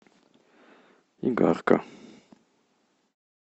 игарка